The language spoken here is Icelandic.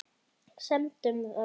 Semdu um það við hann.